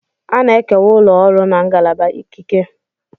A na-ekewa ụlọ ọrụ na ngalaba ikike.